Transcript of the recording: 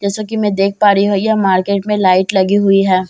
जैसा कि मैं देख पा रही हूं यह मार्केट में लाइट लगी हुई है।